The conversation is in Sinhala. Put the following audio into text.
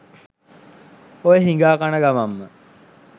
ඔය හිගා කන ගමන්ම